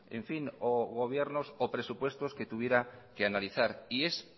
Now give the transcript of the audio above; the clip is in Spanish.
o gobiernos o presupuestos que tuviera que analizar y es